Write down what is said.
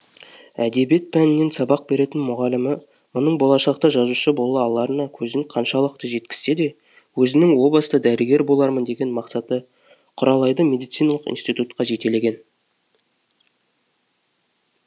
әдебиет пәнінен сабақ беретін мұғалімі мұның болашақта жазушы бола аларына көзін қаншалықты жеткізсе де өзінің о баста дәрігер болармын деген мақсаты құралайды медициналық институтқа жетелеген